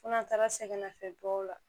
Fo n'an taara sɛgɛnnafiɲɛbɔw la